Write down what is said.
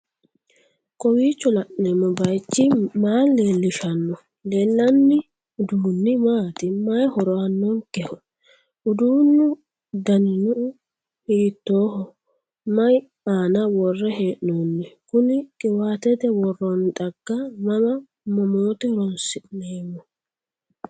kowiicho la'neemmo bayichi ma leellishanno? leellanni uduunni maati/may horo aannonkeho? uduunnu danino hiittoho? may aana worre hee'noonniho? kuni qiwaatete woroonni xagga mama mamoote horonsi'neemmo?